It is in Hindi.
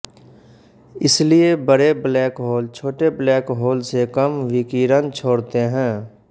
इसलिए बड़े ब्लैक होल छोटे ब्लैक होल से कम विकिरण छोड़ते हैं